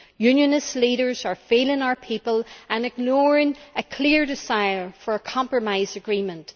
Unionist leaders are failing our people and ignoring a clear desire for a compromise agreement.